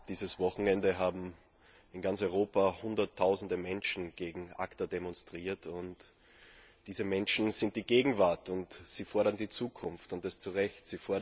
Dieses Wochenende haben in ganz Europa hunderttausende Menschen gegen ACTA demonstriert. Und diese Menschen sind die Gegenwart und sie fordern die Zukunft, und das zu Recht.